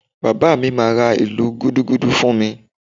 Bàbá mi máa ra ìlù Gúdúgúdú fún mi